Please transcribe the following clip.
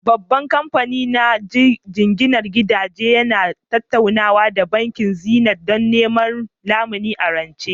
Babban kamfani na jinginar gidaje yana tattaunawa da Bankin Zenith don neman lamuni a rance